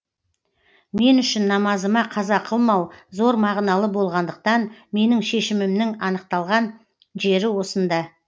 мен үшін намазыма қаза қылмау зор мағыналы болғандықтан менің шешімімнің анықталған жері осында